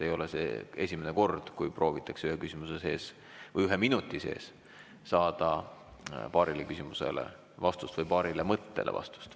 Ei ole see esimene kord, kui proovitakse ühe küsimuse või ühe minuti sees saada vastust paarile küsimusele või paarile mõttele.